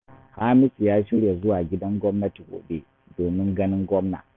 Hamisu ya shirya zuwa gidan gwamnati gobe domin ganin gwamna